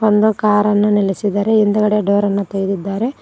ಒಂದು ಕಾರ ನ್ನ ನಿಲ್ಲಿಸಿದಾರೆ ಹಿಂದಗಡೆ ಡೋರ್ ಅನ್ನ ತೆಗೆದಿದ್ದಾರೆ.